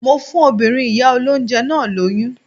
Mo fún ọmọbìnrin ìyá olóńjẹ náà lóyún.